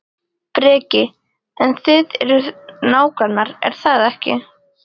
Breki: En þið eruð nágrannar, er það ekki?